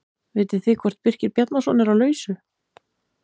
Vitið þið hvort Birkir Bjarnason er á lausu?